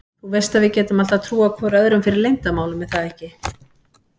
Þú veist að við getum alltaf trúað hvor öðrum fyrir leyndarmálum er það ekki?